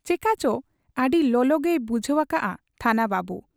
ᱪᱮᱠᱟᱪᱚ ᱟᱹᱰᱤ ᱞᱚᱞᱚᱜᱮᱭ ᱵᱩᱡᱷᱟᱹᱣ ᱟᱠᱟᱜ ᱟ ᱛᱷᱟᱱᱟ ᱵᱟᱹᱵᱩ ᱾